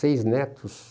Seis netos.